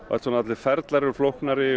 ferlin flóknari